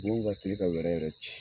Nin ma kan ka kile ka wɛrɛ yɛrɛ ci.